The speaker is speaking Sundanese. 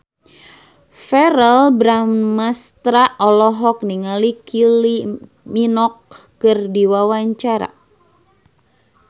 Verrell Bramastra olohok ningali Kylie Minogue keur diwawancara